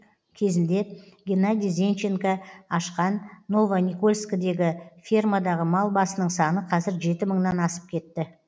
кезінде геннадий зенченко ашқан новоникольскідегі фермадағы мал басының саны қазір жеті мыңнан асып кетті